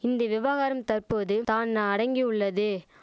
இந்தி விவகாரம் தற்போது தான் அடங்கியுள்ளது